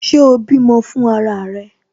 Ṣé o bímọ fún ara rẹ?